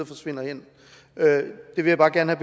forsvinder hen det vil jeg bare gerne